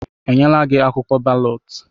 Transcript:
Enyela gị akwụkwọ balọt?